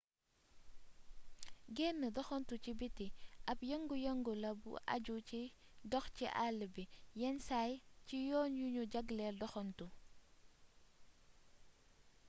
genn doxantu ci biti ab yëngu yëngu la bu aju ci dox ci àll bi yenn saay ci yoon yu nu jagleel doxantu